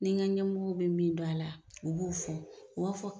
Ni n ka ɲɛmɔgɔw bɛ min dɔn a la, u b'o fɔ, u b'a fɔ